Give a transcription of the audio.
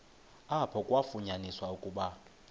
apho kwafunyaniswa ukuba